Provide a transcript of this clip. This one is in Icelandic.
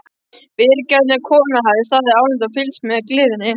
Vingjarnleg kona hafði staðið álengdar og fylgst með gleðinni.